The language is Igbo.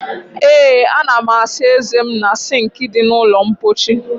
Ee ana m asa eze m na sinki di na ulo mpochi